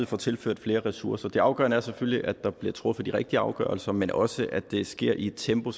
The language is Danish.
får tilført flere ressourcer det afgørende er selvfølgelig at der bliver truffet de rigtige afgørelser men også at det sker i et tempo